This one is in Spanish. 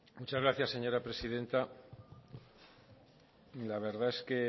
muchas gracias señora presidenta la verdad es que